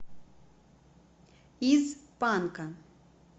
из панка